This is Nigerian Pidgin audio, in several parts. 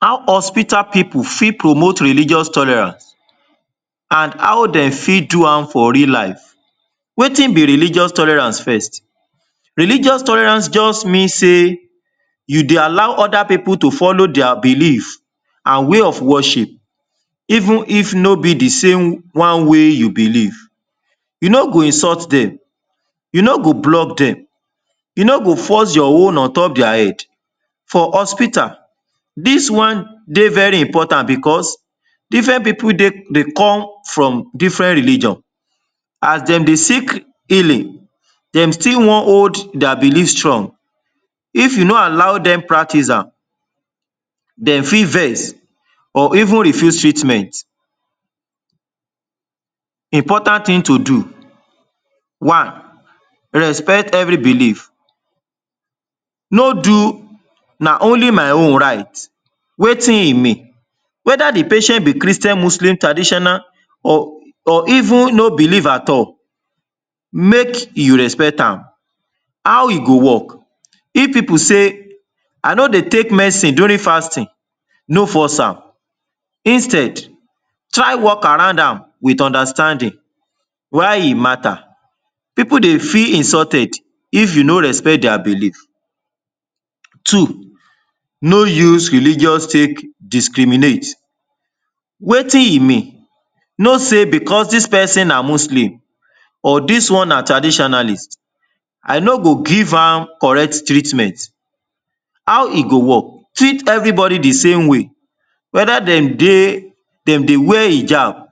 How hospital people fit promote religious tolerance and how dem fit do am for real life? Wetin be religious tolerance first? Religious tolerance just mean say you dey allow other people to follow their belief and way of worship even if no be the same one wey you believe. You no go insult dem, you no go block dem, you no go force your own on top their head. For hospital, dis one dey very important because different people dey dey come from different religion. As dem dey seek healing, dem still wan hold their belief strong. If you no allow dem practice am, dey fit vex or even refuse treatment. Important thing to do. One, respect every belief. No do “na only my own right”. Wetin e mean? Whether the patient be Christian, Muslim, traditional or or even no believe at all, make you respect am. How e go work? If people say, “I no dey take medicine during fasting”, no force am instead try work around am wit understanding. Why e matter? People dey feel insulted if you no respect their belief. Two, no use religions take discriminate. Wetin e mean? No say “because dis person na Muslim or dis one na traditionalist, I no go give am correct treatment”. How e go work? Treat everybody the same way, whether dem dey dem dey wear hijab,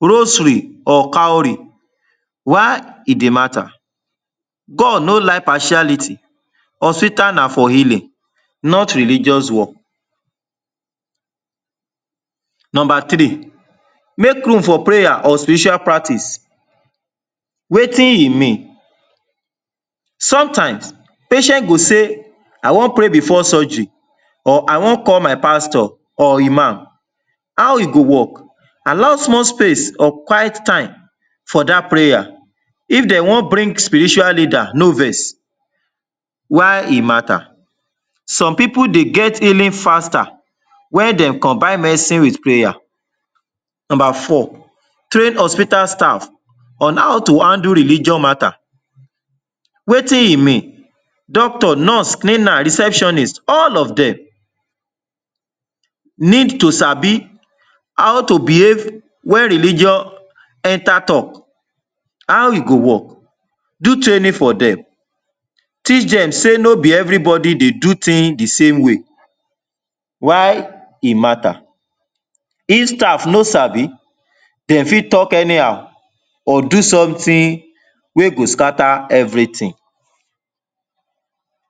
rosary or cowry. Why e dey matter? God no like partiality. Hospital na for healing not religious war. Number three, make room for prayer or spiritual practice. Wetin e mean? Sometimes, patient go say, “I wan pray before surgery or I wan call my pastor or Iman”. How e go work? Allow small space of quiet time for dat prayer. If dey wan bring spiritual leader no vex. Why e matter? Some people dey get healing faster wen dem combine medicine wit prayer. Number four, train hospital staff on how to handle religion matter. Wetin e mean? Doctor, nurse, cleaner, receptionist; all of dem need to sabi how to behave wen religion enter talk. How e go work? Do training for dem. Teach Dem sey no be everybody dey do thing the same way. Why e matter? If staff no sabi, dem fit talk anyhow or do something wey go scatter everything.